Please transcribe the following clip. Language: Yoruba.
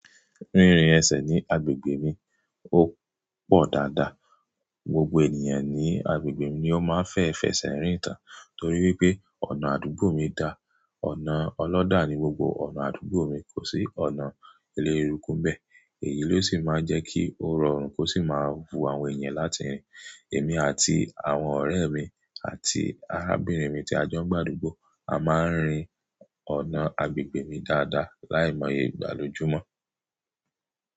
Rírin ẹsẹ̀ ní agbègbè mi ò pọ̀ dáadáa. Gbogbo ènìyàn ní agbègbè mi ni ó máa ń fẹ́ fẹsẹ̀ rìn tán torí wípé ọ̀nà àdúgbò mi da. Ọ̀nà ọlọ́dà ni gbogbo ọ̀nà àdúgbò mi, kò sí ọ̀nà elérùkú nbẹ́ẹ̀. Èyí ló sì máa ń jẹ́ kí ò rorun, kó sì máa wu àwọn ènìyàn láti rìn. Èmi àti àwọn ọ̀rẹ́ mi àti arábìnrin mi tí a jọ ń gbàdúgbò a máa ń rin ọ̀nà agbègbè mi dáadáa láìmọye ìgbà lójùmọ́.